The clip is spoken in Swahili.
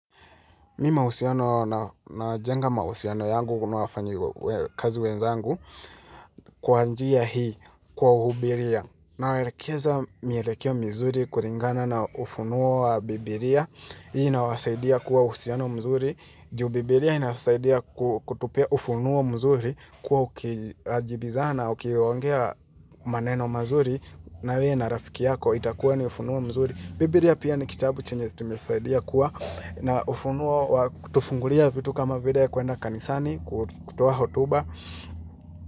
Mi mahusiano na jenga mahusiano yangu kuu na wafanyikazi wenzangu kwa njia hii kwa uhubiria. Na welekeza mielekeo mzuri kulingana na ufunuo wa bibilia. Hii na wasaidia kuwa uhusiano mzuri. Ju bibilia inasaidia kutupea ufunuo mzuri kuwa ukiajibizana ukiyaongea maneno mazuri. Na wewe na rafiki yako itakuwa ni ufunuo mzuri. Bibilia pia ni kitabu chenye tumesaidia kuwa na ufunuo wa kutufungulia vitu kama vile ya kuenda kanisani kutoa hotuba.